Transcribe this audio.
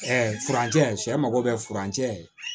Ɛɛ furancɛ sɛ mago bɛ furancɛ